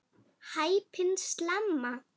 Hæpin slemma.